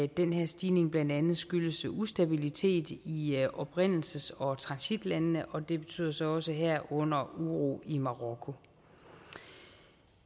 den her stigning blandt andet skyldes ustabilitet i i oprindelses og transitlandene og det betyder så også herunder uro i marokko